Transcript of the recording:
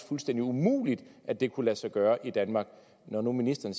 fuldstændig umuligt at det kunne lade sig gøre i danmark når nu ministeren